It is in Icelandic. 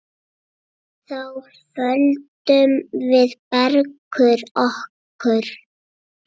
Þá földum við Bergur okkur.